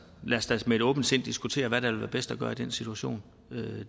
lad os da med et åbent sind diskutere hvad der vil være bedst at gøre i den situation